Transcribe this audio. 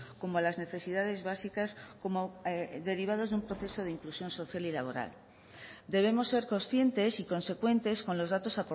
como a las necesidades básicas como derivados de un proceso de inclusión social y laboral debemos ser conscientes y consecuentes con los datos